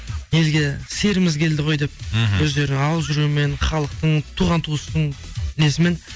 елге серіміз келді ғой деп мхм өздерінің алып жүруімен халықтың туған туыстың несімен